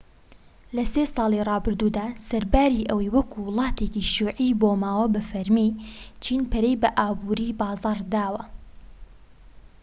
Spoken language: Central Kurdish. لە سی ساڵی رابردوودا سەرباری ئەوەی وەکو وڵاتێکی شیوعی مابۆوە بە فەرمی چین پەرەی بە ئابوری بازاڕ داوە